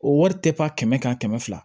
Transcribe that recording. O wari tɛ pa kɛmɛ ka kɛmɛ fila